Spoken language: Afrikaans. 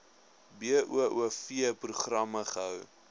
boov programme gehou